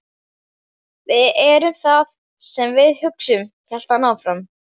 Við erum það sem við hugsum- hélt hann áfram.